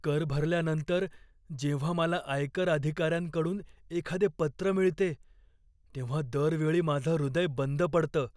कर भरल्यानंतर जेव्हा मला आयकर अधिकाऱ्यांकडून एखादे पत्र मिळते तेव्हा दर वेळी माझं हृदय बंद पडतं.